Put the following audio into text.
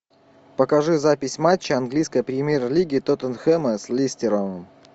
покажи запись матча английской премьер лиги тоттенхэма с лестером